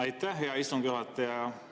Aitäh, hea istungi juhataja!